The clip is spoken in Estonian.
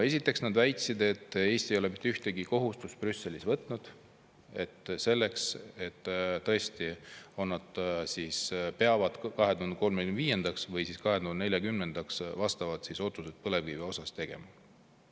Esiteks nad väitsid, et Eesti ei ole mitte ühtegi kohustust Brüsselis võtnud selleks, et tõesti on, nad peavad 2035. või siis 2040. aastaks vastavad otsused põlevkivi osas tegema.